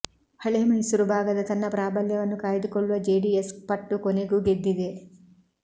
ಹಳೇಮೈಸೂರು ಭಾಗದ ತನ್ನ ಪ್ರಾಬಲ್ಯವನ್ನು ಕಾಯ್ದುಕೊಳ್ಳುವ ಜೆಡಿಎಸ್ ಪಟ್ಟು ಕೊನೆಗೂ ಗೆದ್ದಿದೆ